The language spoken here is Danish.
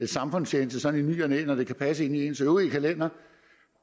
samfundstjeneste sådan i ny og næ når det kan passe ind i ens øvrige kalender